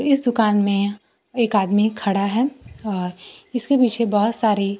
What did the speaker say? इस दुकान में एक आदमी खड़ा है और इसके पीछे बहोत सारी--